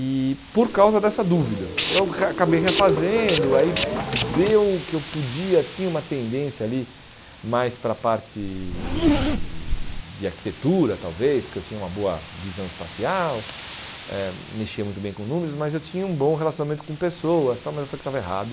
E por causa dessa dúvida, eu re acabei refazendo, aí deu o que eu podia, tinha uma tendência ali mais para a parte de arquitetura, talvez, porque eu tinha uma boa visão espacial, eh mexia muito bem com números, mas eu tinha um bom relacionamento com pessoas tal, mas eu falei que estava errado.